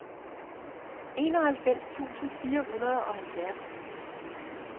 enoghalvfems tusind fire hundrede og halvfjerds